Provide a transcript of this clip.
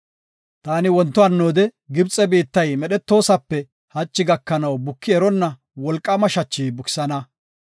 Taani wonto hannoode Gibxe biittay medhotosape hachi gakanaw buki eronna wolqaama shachi bukisana.